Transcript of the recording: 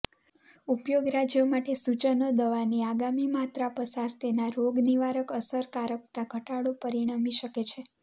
ઉપયોગ રાજ્યો માટે સૂચનો દવાની આગામી માત્રા પસાર તેના રોગનિવારક અસરકારકતા ઘટાડો પરિણમી શકે છે